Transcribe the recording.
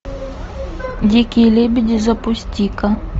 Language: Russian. дикие лебеди запусти ка